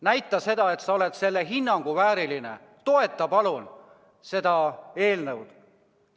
Näita, et sa oled selle hinnangu vääriline, toeta palun seda eelnõu!